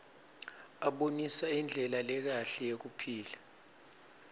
abonisa indlela lekahle yekuphila